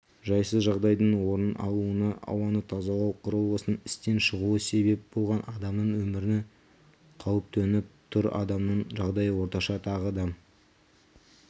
жайсыз жағдайдың орын алуына ауаны тазалау құрылғысының істен шығуы себеп болған адамның өміріні қауіп төніп тұр адамның жағдайы орташа тағы адам